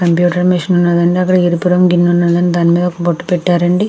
అక్కడ ఒక computer machine ఉన్నదండి. అక్కడ ఒక ఎరుపు రంగు గిన్నె ఉన్నదండి. దాని మీద బొట్టు పెట్టారు అండి.